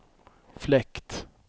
fläkt